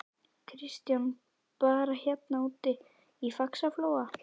Kristján: Bara hérna úti í Faxaflóa?